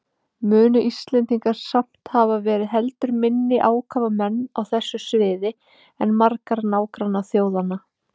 Munu Íslendingar samt hafa verið heldur minni ákafamenn á þessu sviði en margar nágrannaþjóðanna.